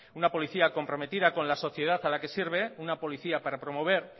una policía comprometida con la sociedad a la que sirve una policía para promover